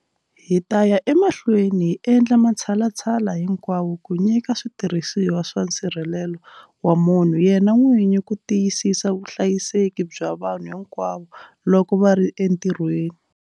Hi ta ya emahlweni hi endla matshalatshala hinkwawo ku nyika switirhisiwa swa nsirhelelo wa munhu yena n'wini ku tiyisisa vuhlayiseki bya vanhu hinkwavo loko va ri entirhweni.